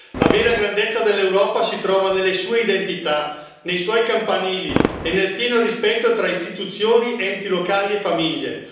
La vera grandezza dell'Europa si trova nelle sue identità, nei suoi campanili e nel pieno rispetto tra istituzioni, enti locali e famiglie.